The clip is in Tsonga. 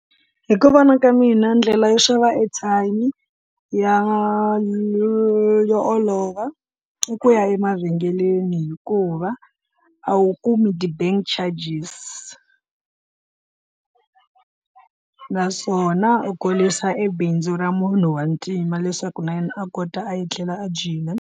Hi ku vona ka mina ndlela yo xava airtime ya yo olova i ku ya emavhengeleni hikuva a wu kumi ti-bank charges, naswona u kurisa e bindzu ra munhu wa ntima leswaku na yena a kota a etlela a dyile.